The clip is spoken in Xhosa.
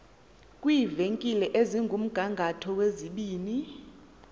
kwiivenkile ezikumgangatho wezibini